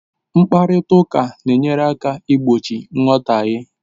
Mkparịta ụka na-enyere aka igbochi nghọtahie